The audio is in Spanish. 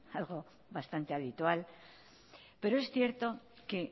algo bastante habitual pero es cierto que